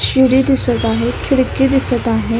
शिडी दिसत आहे खिडकी दिसत आहे.